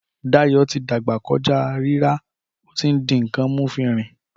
Dàyọ́ ti dàgbá kójà rírà, òtí ń dín kàn mú fírìn